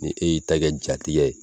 Nin e y'i ta kɛ jatigɛ ye.